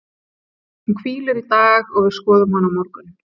Hún hvílir í dag og við skoðum hana á morgun.